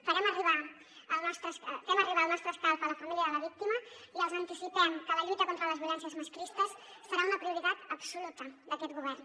fem arribar el nostre escalf a la família de la víctima i els anticipem que la lluita contra les violències masclistes serà una prioritat absoluta d’aquest govern